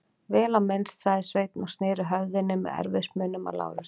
Vel á minnst, sagði Sveinn og sneri höfðinu með erfiðismunum að Lárusi.